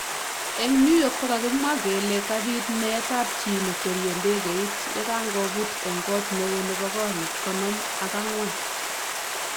Eng New yorknkokakimwa kele kabit meet ab chi nekweriei ndegeit yakangoput eng kot neo nebo korik konom ak angwan.